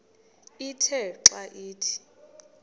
ithe xa ithi